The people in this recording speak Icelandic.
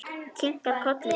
Kinkar kolli til hennar.